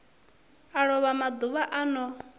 a lova maḓuvha a no